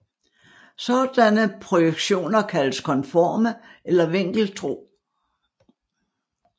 Sådanne projektioner kaldes konforme eller vinkeltro